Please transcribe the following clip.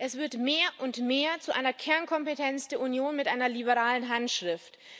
Es wird mehr und mehr zu einer Kernkompetenz der Union mit einer liberalen Handschrift.